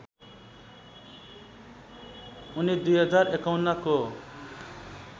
उनी २०५१ को